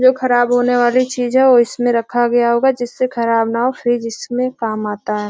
जो खराब होने वाली चीज है वो इसमें रखा गया होगा जिससे खराब न हो फ्रिज इसमें काम आता है।